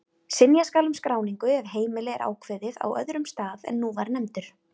Synja skal um skráningu ef heimili er ákveðið á öðrum stað en nú var nefndur.